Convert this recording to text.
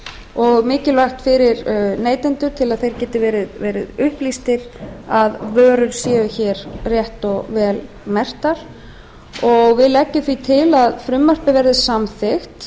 og mikilvægt fyrir neytendur til að þeir geti verið upplýstir að vörur séu rétt og vel merktar nefndin leggur til að frumvarpið verði samþykkt